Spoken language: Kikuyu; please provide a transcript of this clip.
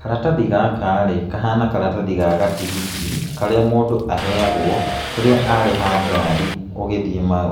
Karatathi gaka rĩ, kahana karatathi ga gatigiti karĩa mũndũ aheagwo rĩrĩa arĩha ngari